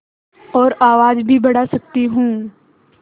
और आवाज़ भी बढ़ा सकती हूँ